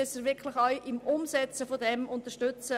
Nun müssen wir auch die Umsetzung unterstützen.